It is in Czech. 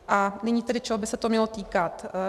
A nyní tedy, čeho by se to mělo týkat.